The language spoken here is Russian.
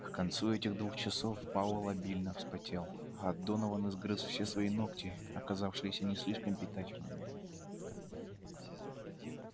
к концу этих двух часов пауэлл обильно вспотел а донован изгрыз все свои ногти оказавшиеся не слишком питательными